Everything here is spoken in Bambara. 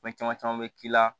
Fɛn caman caman bɛ k'i la